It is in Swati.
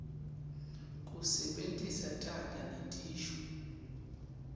kusebentisa taga netisho